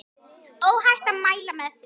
Óhætt að mæla með því.